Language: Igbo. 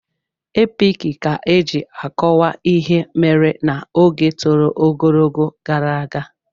Epiki ka eji akọwa ihe mere n'oge tọrọ ogologo gara aga.